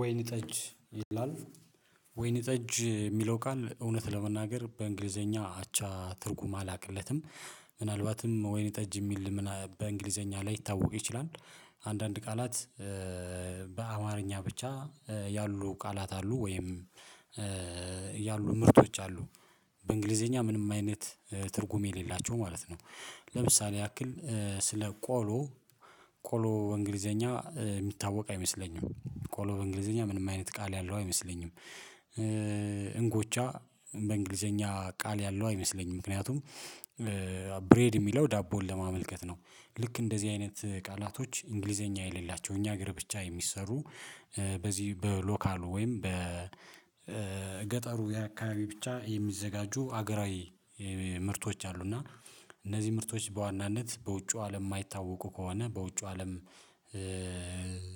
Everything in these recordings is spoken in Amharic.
ወይን ጠጅ ይላል ወይን ጠጅ የሚለው ቃል እውነት ለመናገር በእንግሊዘኛ አቻ ትርጉም አላቅለትም። ምናልባትም ወይነ ጠጅ የሚል ምና በእንግሊዘኛ ላይታወቅ ይችላል። አንዳንድ ቃላት በአማርኛ ብቻ ያሉ ቃላት አሉ ወይም ያሉ ምርቶች አሉ በእንግሊዘኛ ምንም አይነት ትርጉም የሌላቸው ማለት ነው። ለምሳሌ ያክል ስለ ቆሎ። ቆሎ በእንግሊዘኛ የሚታወቅ አይመስለኝም ቆሎ በእንግሊዘኛ ምንም አይነት ቃል ያለው አይመስለኝም። እንጎቻ በእንግሊዘኛ ቃል ያለው አይመስለኝም። ምክንያቱም ብሬድ የሚለው ዳቦን ለማመልከት ነው ልክ እንደዚህ አይነት ቃላቶች እንግሊዘኛ የሌላቸው እኛ እግር ብቻ የሚሰሩ በዚህ በሎካሉ ወይም በገጠሩ የአካባቢ ብቻ የሚዘጋጁ ሀገራዊ ምርቶች አሉ። እና እነዚህ ምርቶች በዋናነት በውጩ አለም የማይታወቁ ከሆነ በውጩ አለም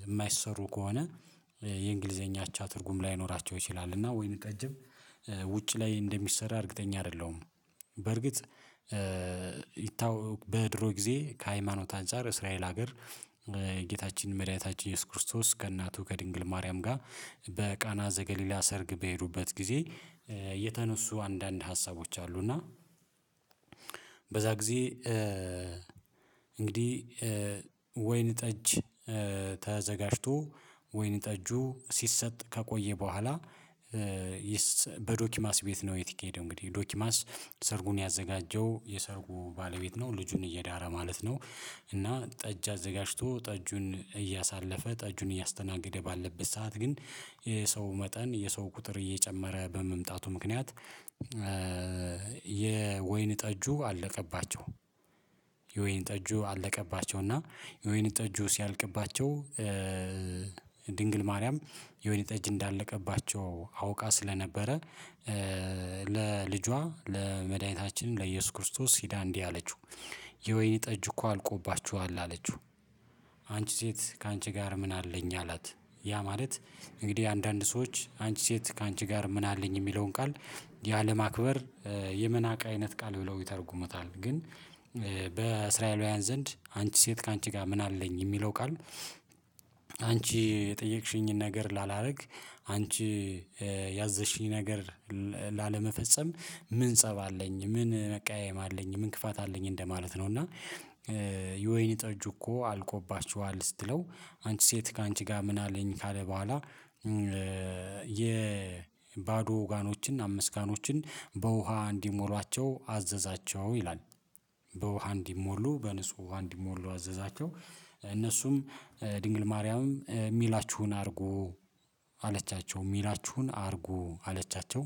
የማይሰሩ ከሆነ የእንግሊዘኛ አቻ ትርጉም ላይኖራቸው ይችላል። እና ወይን ጠጅም ውጭ ላይ እንደሚሰራ እርግጠኛ አይደለሁም። በርግጥ ይታወ በድሮ ጊዜ ከሃይማኖት አንፃር እስራኤል ሀገር ጌታችን መድኃኒታችን ኢየሱስ ክርስቶስ ከእናቱ ከድንግል ማርያም ጋር በቃና ዘገሊላ ሰርግ በሄዱበት ጊዜ የተነሱ አንዳንድ ሀሳቦች አሉ እና በዛ ጊዜ እንግዲህ ወይን ጠጅ ተዘጋጅቶ ወይን ጠጁ ሲሰጥ ከቆየ በኋላ በዶኪማስ ቤት ነው የት የሄደው እንግዲህ። ዶኪማስ ሰርጉን ያዘጋጀው የሰርጉ ባለቤት ነው ልጁን እየዳረ ማለት ነው። እና ጠጅ አዘጋጅቶ ጠጁን እያሳለፈ ጠጁን እያስተናገደ ባለበት ሰዓት ግን የሰው መጠን የሰው ቁጥር እየጨመረ በመምጣቱ ምክንያት የወይን ጠጁ አለቀባቸው። የወይን ጠጁ አለቀባቸውና የወይን ጠጁ ሲያልቅባቸው ድንግል ማርያም የወይን ጠጅ እንዳለቀባቸው አውቃ ስለነበረ ለልጇ ለመድኃኒታችን ለኢየሱስ ክርስቶስ ሂዳ እንዲህ አለችው የወይኒ ጠጅ እኮ አልቆባችዋል አለችው። ሴት ካንቺ ጋር ምን አለኝ አላት። ያ ማለት እንግዲህ አንዳንድ ሰዎች አንቺ ሴት ካንቺ ጋር ምን አለኝ የሚለውን ቃል ያለማክበር፣ የመናቅ አይነት ቃል ብለው ይተረጉመዋል። ግን በእስራ ዘንድ አንቺ ሴት ካንቺ ጋር ምን አለኝ የሚለው ቃል አንቺ የጠየቅሽኝን ነገር ላላደርግ፣ አንቺ ያዘዝሽኝ ነገር ላለመፈጸም፣ ምን ፀብ አለኝ፣ ምን መቃየም አለኝ፣ ምን ክፋት አለኝ እንደማለት ነው። እና የወይኒ ጠጁ እኮ አልቆባችኋል ስትለው አንቺ ሴት ካንቺ ጋር ምን አለኝ ካለ በኋላ የባዶ ጋኖችን አምስት ጋኖችን በውሃ እንዲሞሏቸው አዘዛቸው ይላል። በውሃ እንዲሞሉ በንጹህ እንዲሞሉ አዘዛቸው። እነሱም ድንግል ማርያምም የሚላችሁን አርጉ አለቻቸው የሚላችሁን አድርጉ አለቻቸው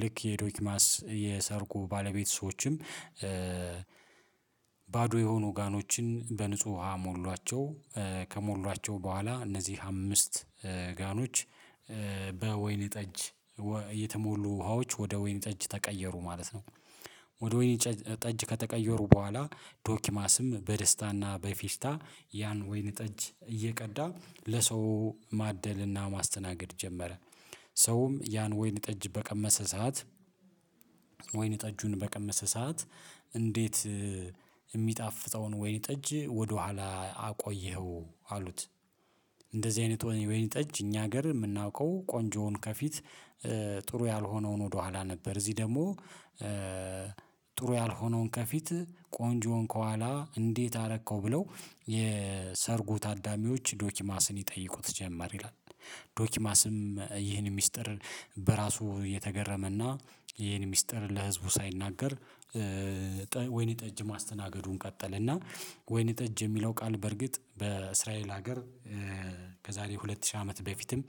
ልክ የዶኪማስ የሰርጉ ባለቤት ሰዎችም ባዶ የሆኑ ጋኖችን በንጹህ ውሃ ሞሏቸው። ከሞሏቸው በኋላ እነዚህ አምስት ጋኖች በወይን ጠጅ የተሞሉ ውሃዎች ወደ ወይን ጠጅ ተቀየሩ ማለት ነው። ወደ ወይን ጠጅ ከተቀየሩ በኋላ ዶኪማስም በደስታና በፊሽታ ያን ወይን ጠጅ እየቀዳ ለሰው ማደልና ማስተናገድ ጀመረ ሰውም ያን ወይን ጠጅ በቀመሰ ሰዓት ወይን ጠጁን በቀመሰ ሰዓት እንዴት የሚጣፍጠውን ወይን ጠጅ ወደኋላ አቆየኸው አሉት? እንደዚህ አይነት ወይን ጠጅ እኛ ሀገር የምናውቀው ቆንጆውን ከፊት ጥሩ ያልሆነውን ወደኋላ ነበር እዚህ ደግሞ ጥሩ ያልሆነውን ከፊት ቆንጆውን ከኋላ እንዴት አረከው ብለው የሰርጉ ታዳሚዎች ዶኪማስን ይጠይቁት ጀመር ይላል። ዶኪማስም ይህን ሚስጥር በራሱ የተገረመና፣ ይህን ሚስጥር ለህዝቡ ሳይናገር ወይኔ ጠጅ ማስተናገዱን ቀጠለ። እና ወይን ጠጅ የሚለው ቃል በርግጥ በእስራኤል ሀገር ከዛሬ ሁለት ሺህ አመት በፊትም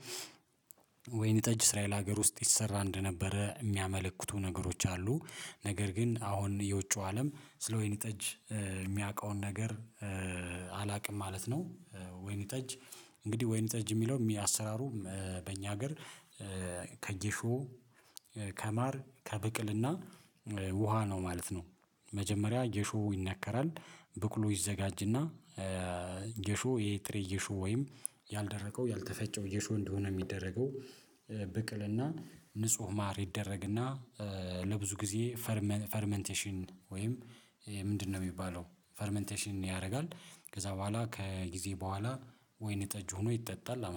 ወይን ጠጅ እስራኤል ሀገር ውስጥ ይሰራ እንደነበረ የሚያመለክቱ ነገሮች አሉ። ነገር ግን አሁን የውጪው አለም ስለ ወይን ጠጅ የሚያውቀውን ነገር አላቅም ማለት ነው። ወይን ጠጅ እንግዲህ ወይን ጠጅ የሚለው አሰራሩ በእኛ ሀገር ከጌሾ፣ ከማር፣ ከብቅልና ውሃ ነው ማለት ነው። መጀመሪያ ጌሾ ይነከራል ብቅሉ ይዘጋጅና ጌሾ ይሄ ጥሬ ጌሾ ወይም ያልደቀው ያልተፈጨው ጌሾ እንደሆነ የሚደረገው ብቅልና ንጹህ ማር ይደረግና ለብዙ ጊዜ ፈርመ ፈርመንቴሽን ወይም ምንድነው የሚባለው ፈርመንቴሽን ያደርጋል። ከዛ በኋላ ከጊዜ በኋላ ወይን ጠጅ ሆኖ ይጠጣል